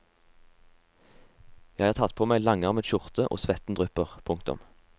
Jeg har tatt på meg langarmet skjorte og svetten drypper. punktum